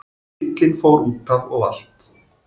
Bíllinn fór útaf og valt